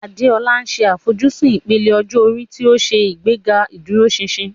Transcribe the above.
Adeola ṣe àfojúsùn ìpele ọjọ́ orí tí ó ń ṣe ìgbéga ìdúróṣinṣin.